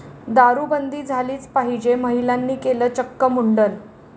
दारूबंदी झालीच पाहिजे, महिलांनी केलं चक्क मुंडन!